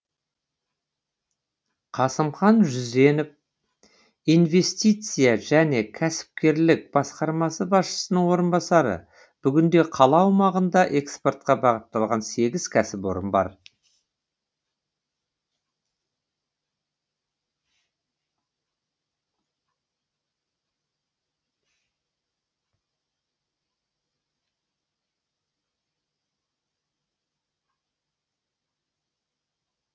қасымхан жүзенов инвестиция және кәсіпкерлік басқармасы басшысының орынбасары бүгінде қала аумағында экспортқа бағытталған сегіз кәсіпорын бар